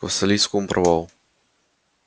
к вассалийскому провалу